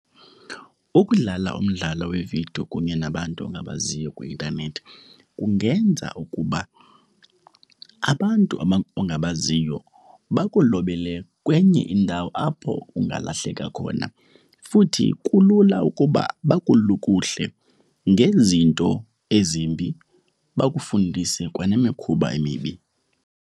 Ukudlala umdlalo wevidiyo kunye nabantu ongabaziyo kwi-intanethi kungenza ukuba abantu ongabaziyo bakulobele kwenye indawo apho ungalahleka khona. Futhi kulula ukuba bakulukuhle ngezinto ezimbi, bakufundise kwanemikhuba emibi.